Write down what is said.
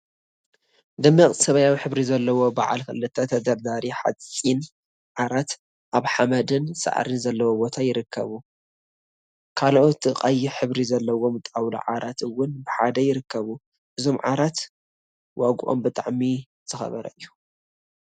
ደሚቅ ሰማያዊ ሕብሪ ዘለዎም በዓል ክልተ ተደርዳሪ ሓፂን ዓራት አብ ሓመድን ሳዕሪን ዘለዎ ቦታ ይርከቡ፡፡ ካልኦት ቀይሕ ሕብሪ ዘለዎም ጣውላ ዓራት እውን ብሓደ ይርከቡ፡፡ እዞም ዓራት ዋግኦም ብጣዕሚ ዝኸበረ እዩ፡፡